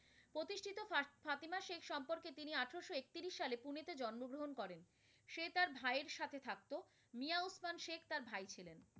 করেন, সে তার ভাইয়ের সাথে থাকতো, মিয়া ওসমান শেখ তার ভাই ছিলেন।